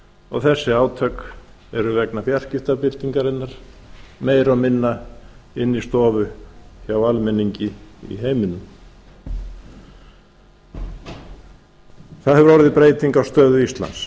og þessi átök eru vegna fjarskiptabyltingarinnar meira og minna inni í stofu hjá almenningi í heiminum það hefir orðið breyting á stöðu íslands